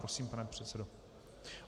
Prosím, pane předsedo.